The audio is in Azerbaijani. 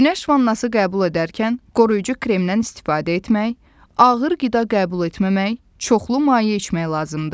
Günəş vannası qəbul edərkən qoruyucu kremdən istifadə etmək, ağır qida qəbul etməmək, çoxlu maye içmək lazımdır.